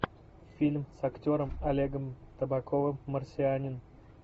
фильм с актером олегом табаковым марсианин